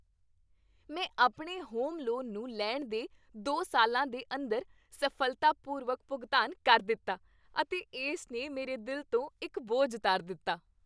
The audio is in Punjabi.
ਮੈਂ ਆਪਣੇ ਹੋਮ ਲੋਨ ਨੂੰ ਲੈਣ ਦੇ ਦੋ ਸਾਲਾਂ ਦੇ ਅੰਦਰ ਸਫ਼ਲਤਾਪੂਰਵਕ ਭੁਗਤਾਨ ਕਰ ਦਿੱਤਾ ਅਤੇ ਇਸ ਨੇ ਮੇਰੇ ਦਿਲ ਤੋਂ ਇੱਕ ਬੋਝ ਉਤਾਰ ਦਿੱਤਾ।